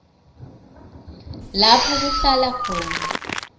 lapho kuhlala khona